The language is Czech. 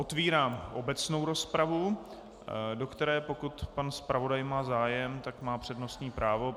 Otvírám obecnou rozpravu, do které - pokud pan zpravodaj má zájem, tak má přednostní právo.